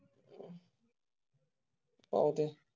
अह